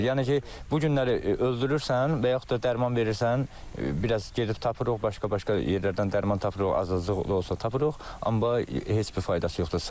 Yəni ki, bu günləri öldürürsən və yaxud da dərman verirsən, biraz gedib tapırıq, başqa-başqa yerlərdən dərman tapırıq, az olsa tapırıq, amma heç bir faydası yoxdur.